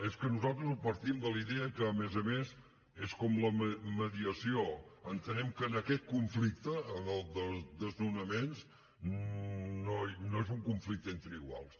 és que nosaltres partim de la idea que a més a més és com la mediació entenem que aquest conflicte el dels desnonaments no és un conflicte entre iguals